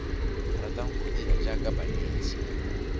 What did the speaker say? ratang go dira jaaka banetshi